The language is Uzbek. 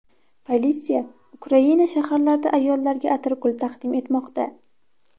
Politsiya Ukraina shaharlarida ayollarga atirgul taqdim etmoqda.